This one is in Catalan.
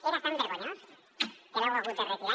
era tan vergonyós que l’heu hagut de retirar